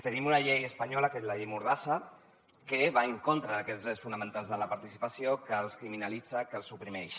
tenim una llei espanyola que és la llei mordassa que va en contra d’aquests drets fonamentals de la participació que els criminalitza que els oprimeix